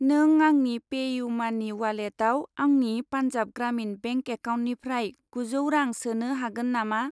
नों आंनि पे इउ मानि उवालेटाव आंनि पान्जाब ग्रामिन बेंक एकाउन्टनिफ्राय गुजौ रां सोनो हागोन नामा?